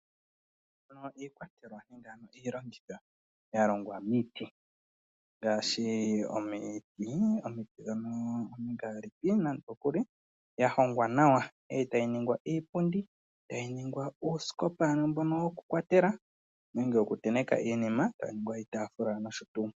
Opu na iikwatelwa nenge iilongitho ya longwa miiti ngaashi omiti dhomingaalipi. Ya hongwa nawa e tayi ningwa iipundi, tayi ningwa uusikopa mboka wokukwatela nenge wokutenteka iinima, tayi ningwa iitaafula nosho tuu.